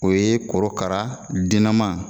O ye korokara dennama